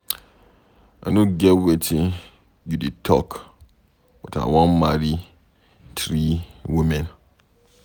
I no get wetin you dey talk but I wan marry three women